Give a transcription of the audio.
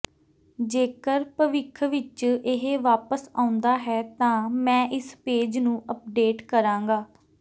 ਜੇਕਰ ਭਵਿੱਖ ਵਿਚ ਇਹ ਵਾਪਸ ਆਉਂਦਾ ਹੈ ਤਾਂ ਮੈਂ ਇਸ ਪੇਜ ਨੂੰ ਅਪਡੇਟ ਕਰਾਂਗਾ